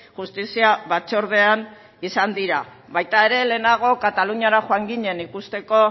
justizia batzordean izan dira baita ere lehenago kataluniara joan ginen ikusteko